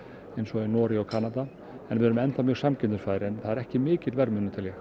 eins og í Noregi og Kanada en við erum ennþá mjög samkeppnisfær en það er ekki mikill verðmunur tel ég